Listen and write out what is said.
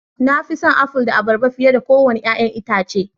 Na fi son Aful da Abarba fiye da kowane 'ya'yan itace